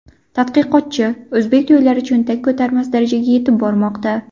Tadqiqotchi: O‘zbek to‘ylari cho‘ntak ko‘tarmas darajaga yetib bormoqda.